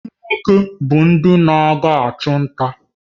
Ndị nwoke bụ ndị na-aga ịchụ nta